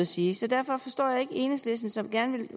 sige så derfor forstår jeg ikke enhedslisten som gerne vil